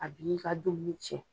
A bi'i ka den ko tiɲɛ.